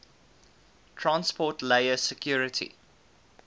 transport layer security